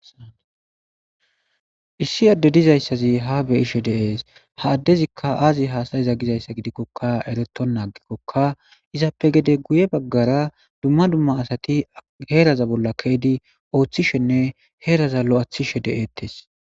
Issi adey de:izaysi ha beyishe de'es ha adezika azi hassa'ize gizaysa gidiko erwtona agikoka izape hede guye bagara duma duma asati ke'idi heraza bola orhishene heraza loythishe de'etes